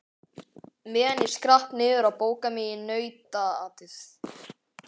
Meðan ég skrapp niður að bóka mig í nautaatið.